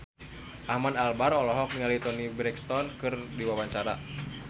Ahmad Albar olohok ningali Toni Brexton keur diwawancara